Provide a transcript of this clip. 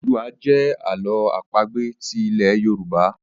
Ododuwa jẹ Àló̩ àpagbè ti ilè yorùbá.